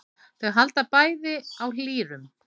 Þau halda bæði á lýrum.